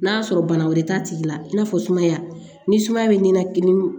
N'a sɔrɔ bana wɛrɛ t'a tigi la i n'a fɔ sumaya ni sumaya bɛ nina kini